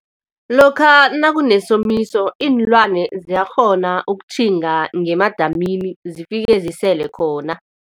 Lokha nakunesomiso iinlwane ziyakghona ukutjhinga ngemadamini zifike zisele khona.